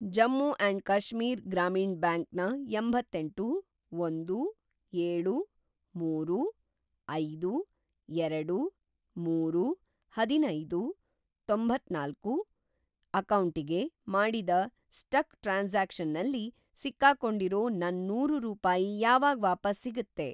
Jammu and Kashmir Grameen bank ನ ಎಂಬತ್ತೇಂಟು, ಒಂದು, ಏಳು, ಮೂರು, ಐದು, ಎರಡು, ಮೂರು, ಅದಿನೈದು, ತೊಂತ್ತನಾಲ್ಕು ಅಕೌಂಟಿಗೆ ಮಾಡಿದ ಸ್ಟಕ್‌ ಟ್ರಾನ್ಸಾಕ್ಷನ್‌ನಲ್ಲಿ ಸಿಕ್ಕಾಕೊಂಡಿರೋ ನನ್‌ ನೂರು ರೂಪಾಯಿ ಯಾವಾಗ್‌ ವಾಪಸ್‌ ಸಿಗತ್ತೆ?